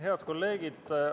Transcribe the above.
Head kolleegid!